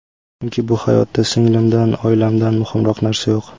Chunki bu hayotda singlimdan, oilamdan muhimroq narsa yo‘q.